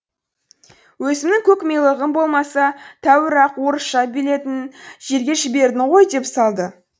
өзімнің көкмилығым болмаса тәуір ақ орысша белетін жерге жібердің ғой деп салды